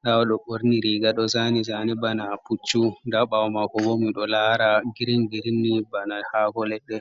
nda o do ɓorni riga ɗo zani zane banaa puccu. Nda bawo mako bo mido lara green-green bana hako leɗɗe.